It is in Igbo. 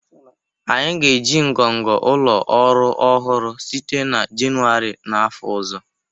Anyị ga-eji ngọngọ ụlọ ọrụ ọhụrụ site na Jenụwarị n'afọ ọzọ